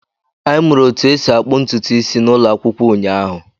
Anyị mụrụ otú e si akpụ ntutu isi n'ụlọ akwụkwọ ụnyaahụ.